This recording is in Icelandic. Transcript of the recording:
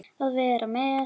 Að vera með